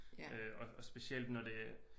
Og og specielt når det